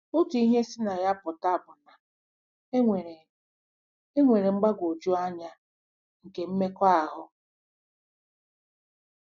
Otu ihe si na ya pụta bụ na enwere enwere m mgbagwoju anya nke mmekọahụ.